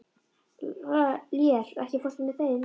Lér, ekki fórstu með þeim?